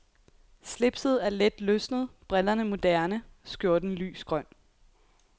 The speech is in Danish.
Slipset er let løsnet, brillerne moderne, skjorten lys grøn.